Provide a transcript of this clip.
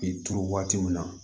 K'i turu waati min na